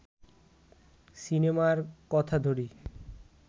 সিনেমার কথা ধরি